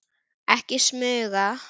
Ekki smuga!